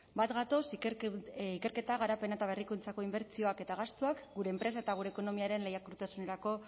bat gatoz ikerketa garapen eta berrikuntzako inbertsioak eta gastuak gure enpresa eta gure ekonomiaren lehiakortasunerako